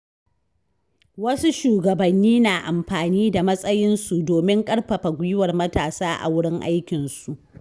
Wasu shugabanni na amfani da matsayinsu domin ƙarfafa gwiwar matasa a wurin aikinsu.